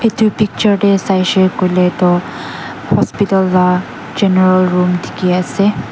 etu picture te sai se koile tu hospital laga general room dekhi ase.